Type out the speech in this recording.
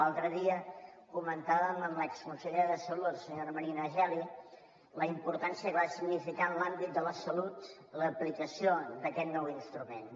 l’altre dia comentàvem amb l’exconsellera de salut senyora marina geli la importància que va significar en l’àmbit de la salut l’aplicació d’aquest nou instrument